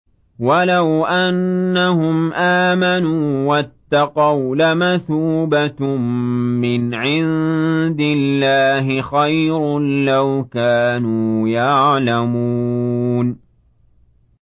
وَلَوْ أَنَّهُمْ آمَنُوا وَاتَّقَوْا لَمَثُوبَةٌ مِّنْ عِندِ اللَّهِ خَيْرٌ ۖ لَّوْ كَانُوا يَعْلَمُونَ